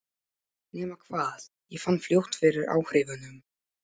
Nema hvað, ég fann fljótt fyrir áhrifunum.